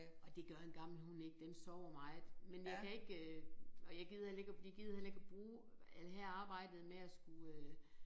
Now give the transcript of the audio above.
Og det gør en gammel hund ikke den sover meget men jeg kan ikke øh og jeg gider heller ikke at vi gider heller ikke at bruge alt her arbejdet med at skulle øh